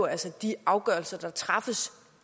altså de afgørelser der træffes